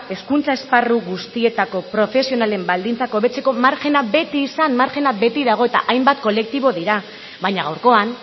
hezkuntza esparru guztietako profesionalen baldintzak hobetzeko margena beti izan margena beti dago eta hainbat kolektibo dira baina gaurkoan